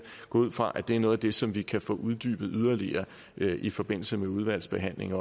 går ud fra at det er noget af det som vi også kan få uddybet yderligere i forbindelse med udvalgsbehandlingen